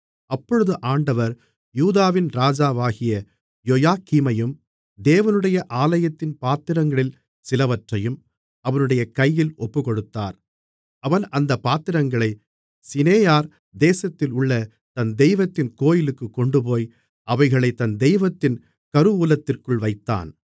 அப்பொழுது ஆண்டவர் யூதாவின் ராஜாவாகிய யோயாக்கீமையும் தேவனுடைய ஆலயத்தின் பாத்திரங்களில் சிலவற்றையும் அவனுடைய கையில் ஒப்புக்கொடுத்தார் அவன் அந்தப் பாத்திரங்களைச் சினேயார் தேசத்திலுள்ள தன் தெய்வத்தின் கோவிலுக்குக் கொண்டுபோய் அவைகளைத் தன் தெய்வத்தின் கருவூலத்திற்குள் வைத்தான்